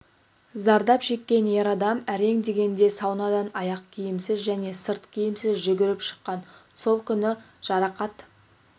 зардап шеккен ер адам әрең дегенде саунадан аяқкиімсіз және сырт киімсіз жүгіріп шыққан сол күні жарақат